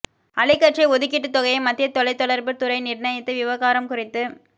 அலைக்கற்றை ஒதுக்கீட்டுத் தொகையை மத்திய தொலைத்தொடர்புத் துறை நிர்ணயித்த விவகாரம் குறித்து